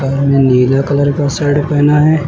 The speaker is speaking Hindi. नीला कलर का शर्ट पहना है।